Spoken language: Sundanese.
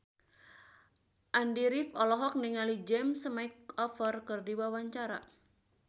Andy rif olohok ningali James McAvoy keur diwawancara